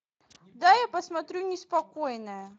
дай я посмотрю неспокойная